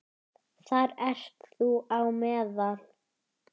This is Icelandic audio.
Þar ert þú á meðal.